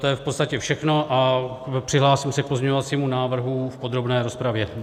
To je v podstatě všechno a přihlásím se k pozměňovacímu návrhu v podrobné rozpravě.